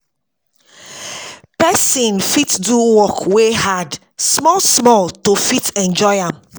Person fit do work wey hard small small to fit enjoy am